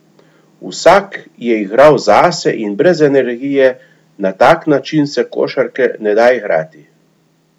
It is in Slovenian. Vsak je igral zase in brez energije, na tak način se košarke ne da igrati!